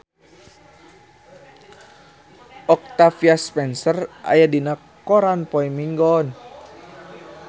Octavia Spencer aya dina koran poe Minggon